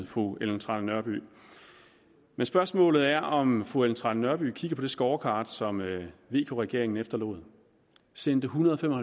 fru ellen trane nørby men spørgsmålet er om fru ellen trane nørby har kigget på det scorecard som vk regeringen efterlod man sendte ethundrede og